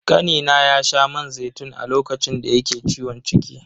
Kanina ya sha man zaitun a lokacin da yake ciwon ciki.